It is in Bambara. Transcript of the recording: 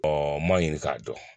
n m'a ɲini k'a dɔn